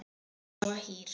Hún var svo hýr.